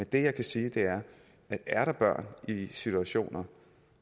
det jeg kan sige er at er der børn i situationer